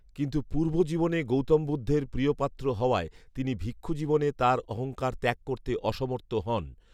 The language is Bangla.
কিন্তু পূর্বজীবনে গৌতম বুদ্ধের প্রিয়পাত্র হওয়ায় তিনি ভিক্ষুজীবনে তার অহঙ্কার ত্যাগ করতে অসমর্থ হন